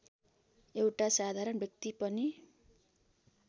एउटा साधारण व्यक्ति पनि